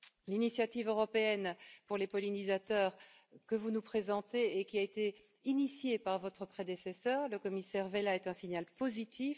L'initiative européenne pour les pollinisateurs, que vous nous présentez et qui a été initiée par votre prédécesseur, le commissaire Vella, est un signal positif.